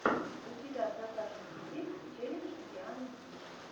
у тебя в загашнике есть челлендж дианы ди